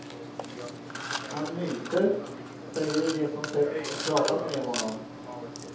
Han myser, säger de som sett och pratat med honom.